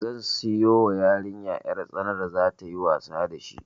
Zan siyo wa yariya 'yar tsana da za tayi wasa da shi